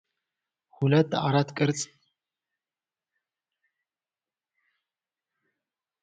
ሁለት አራት ማዕዘን ቅርጽ ያላቸው የፕላስቲክ ዕቃዎች እርስ በርስ ተደራርበው ተቀምጠዋል። የእቃዎቹ ክዳን ደማቅ ሮዝ ሲሆን፣ ሰውነታቸው ነጭና በሮዝ እና ቡናማ ቅጠል ቅርጽ ያጌጠ ነው። ዕቃዎቹ በፕላስቲክ ተጠቅልለዋል።